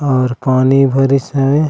और पानी भारिस है ।--